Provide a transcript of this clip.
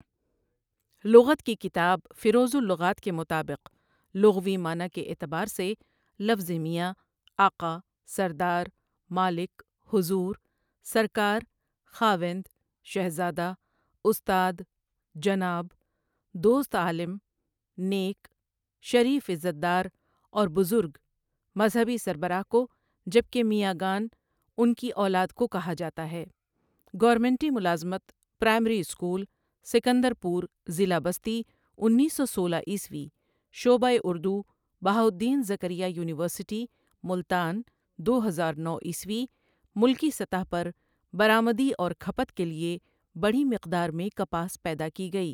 لغت کی کتاب فیروز الغات کے مطابق لغوی معنی کے اعتبار سے لفظِ میاں، آقا، سردار، مالک، حضور، سرکار، خاوند، شہزادہ، استاد، جناب، دوست عالم، نیک، شریف عزت دار اور بزرگ، مذہبی سربراہ کو جبکہ میاں گان انکی اولاد کو کہا جاتا ہے ۞گورنمنٹی ملازمت، پرائمری اسکول، سکندرپور ضلع بستی اُنیس سو سولہ عیسوی شعبۂ اردو بہاء الدین زکریا یونیورسٹی ٗملتان ٗ دو ہزار نو عیسوی ملکی سطح پر برآمدی اور کھپت کے لیے بڑی مقدار میں کپاس پیدا کی گئی۔